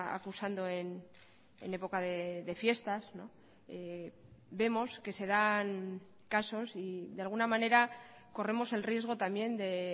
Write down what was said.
acusando en época de fiestas vemos que se dan casos y de alguna manera corremos el riesgo también de